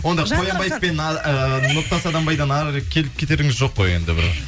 онда қоянбаев пен а ыыы нұртас адамбайдан әрірек келіп кетеріңіз жоқ қой енді бір